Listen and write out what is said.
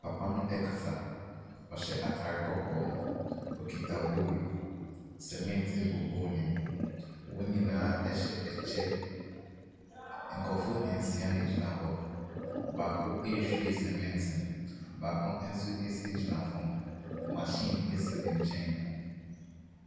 Papa no ɛkasa, ɔhyɛ atare kɔkɔɔ. Okita bol, sɛmɛnte egu bol nim, wɔn nyinaa ɛhyɛ ɛkyɛ. Nkurofoɔ nsia na egyina hɔ, baako ehwie sɛmɛnte no, baako nso egyina fam. Mahyin esi ne nkyɛn.